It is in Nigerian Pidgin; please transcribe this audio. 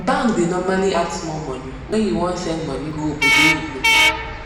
bank da normally add small money when u wan send money go obodoyibo